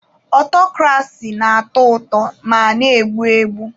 Ọtọkrasi na-atọ ụtọ ma na-egbu egbu.